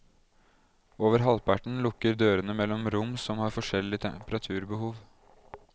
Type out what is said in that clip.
Over halvparten lukker dørene mellom rom som har forskjellig temperaturbehov.